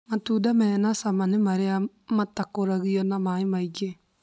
Matunda mena cama nĩ marĩa matakũragio na maĩ maingĩ